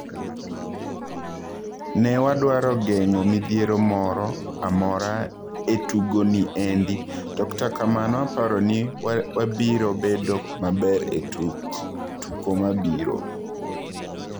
"Ne wadwaro geng'o midhiero mora ,mora e tugo ni endi, to kata kamano aparoni wabirobedo maber e tuko mabiro."